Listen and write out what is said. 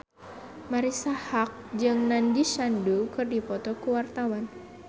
Marisa Haque jeung Nandish Sandhu keur dipoto ku wartawan